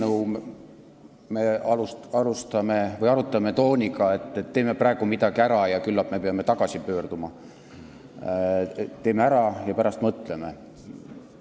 Juba teist eelnõu me arutame tooniga, et teeme midagi ära, kuigi küllap me peame selle juurde tagasi pöörduma, et teeme ära ja pärast mõtleme.